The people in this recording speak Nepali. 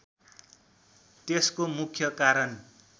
त्यसको मुख्य कारण